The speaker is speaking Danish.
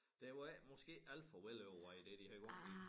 Det var ikke måske ikke alt for velovervejet det de havde gang i